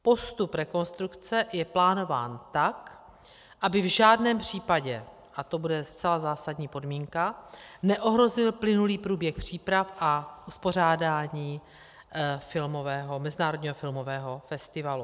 Postup rekonstrukce je plánován tak, aby v žádném případě, a to bude zcela zásadní podmínka, neohrozil plynulý průběh příprav a uspořádání mezinárodního filmového festivalu.